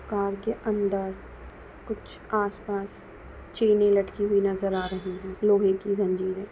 car के अंदर कुछ आसपास चैने लटकी हुई नजर आ रही है लोहे की जंजीरे --